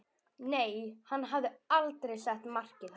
Nei, hann hafði aldrei sett markið hærra.